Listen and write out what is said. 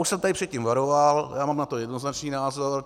Už jsem tady před tím varoval, mám na to jednoznačný názor.